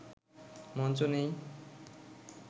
মঞ্চ নেই